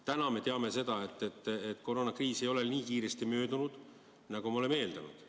Täna me teame seda, et koroonakriis ei ole nii kiiresti möödunud, nagu me oleme eeldanud.